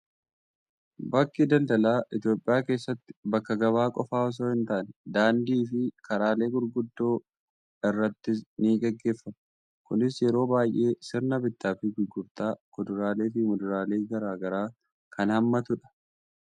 Bakki daldalaa Itoophiyaa keessatti bakka gabaa qofaa osoo hin taane, daandii fi karaalee gurguddoo irrattis ni gaggeeffama. Kunis yeroo baay'ee sirna bittaa fi gurgurtaa kuduraalee fi muduraalee garaa garaa kan haammatudha.